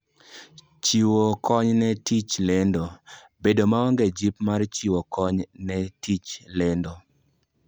Chiwo Kony ne Tij Lendo: Bedo maonge jip mar chiwo kony ne tij lendo.